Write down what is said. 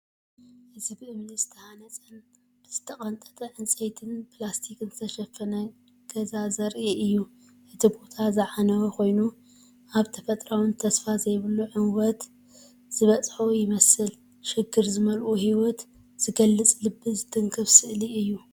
እዚ ብእምኒ ዝተሃንጸን ብዝተቐንጠጠ ዕንጨይትን ፕላስቲክን ዝተሸፈነ ገዛ ዘርኢ እዩ። እቲ ቦታ ዝዓነወ ኮይኑ፡ ኣብ ተፈጥሮኣውን ተስፋ ዘይብሉን ዕንወት ዝበጽሐ ይመስል። ሽግር ዝመልኦ ህይወት ዝገልጽ ልቢ ዝትንክፍ ስእሊ እዩ።